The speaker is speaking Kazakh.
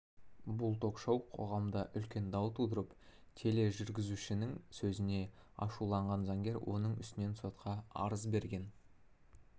бұл ток-шоу қоғамда үлкен дау тудырып тележүргізушінің сөзіне ашуланған заңгер оның үстінен сотқа арыз берген сот